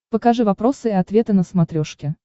покажи вопросы и ответы на смотрешке